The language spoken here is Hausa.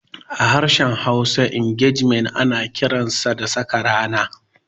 A harshen Hausa, Ingejimen ana kiransa da "Saka rana".